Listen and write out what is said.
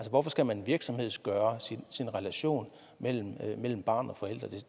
hvorfor skal man virksomhedsgøre relationen mellem mellem barn og forældre